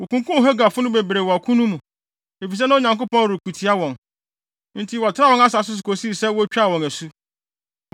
Wokunkum Hagarfo no bebree wɔ ɔko no mu, efisɛ na Onyankopɔn reko tia wɔn. Enti wɔtenaa wɔn asase so kosii sɛ wotwaa wɔn asu.